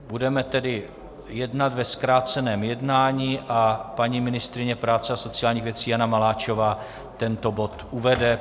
Budeme tedy jednat ve zkráceném jednání a paní ministryně práce a sociálních věcí Jana Maláčová tento bod uvede.